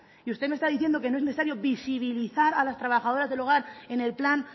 y usted me está diciendo que no es necesario visibilizar a las trabajadoras del hogar en el plan